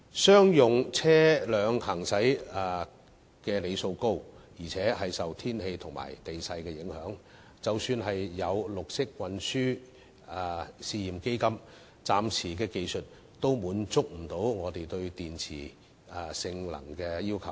商用車輛行駛里數高，亦受天氣和地勢影響，即使有綠色運輸試驗基金，技術暫時亦不能滿足我們對電池性能的要求。